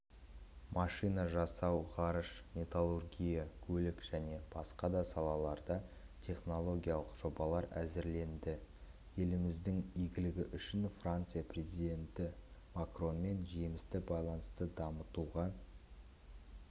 машина жасау ғарыш металлургия көлік және басқа да салаларда технологиялық жобалар әзірленді елдеріміздің игілігі үшін франция президенті макронмен жемісті байланысты дамытуға